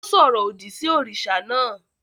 Ó sọ̀rọ̀ òdì sí òrìṣà náà